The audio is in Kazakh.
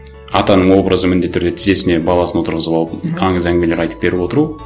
атаның образы міндетті түрде тізесіне баласын отырғызып алып аңыз әңгімелер айтып беріп отыру